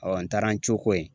n taara n cooko ye